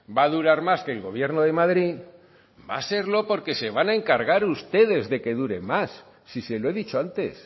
va a durar más que el gobierno de madrid va a serlo porque se van a encargar ustedes de que dure más si se lo he dicho antes